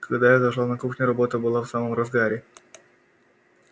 когда я зашла на кухню работа была в самом разгаре